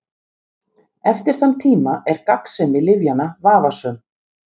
Eftir þann tíma er gagnsemi lyfjanna vafasöm.